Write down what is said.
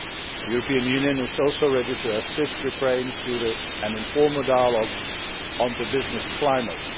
The European Union is also ready to assist Ukraine through an informal dialogue on the business climate.